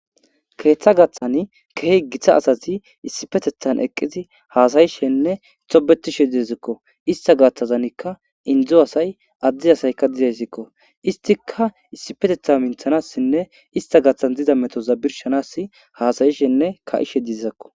keeththa gaththan keehi githa asazi issipetethan eqqizi haasayishenne xobetishe dizakko ista gaththazanikka indzu asay addi asaykka didesikko istika issipetetha minthanassinne ista gathan dida metoza birshanas haasayishenne ka7ishe dizizakko